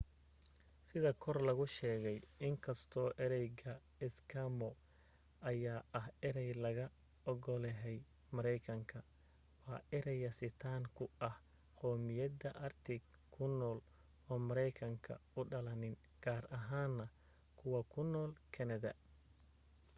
sida kor lagu sheegay inkastoo ereyga eskimo ayaa ah erey laga ogolahay maraykanka waa erey yasitaan ku ah qowmiyadaha arctic ku nool oo maraykanka u dhalanin gaar ahaan na kuwa ku nool canada